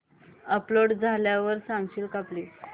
upload झाल्यावर सांगशील का प्लीज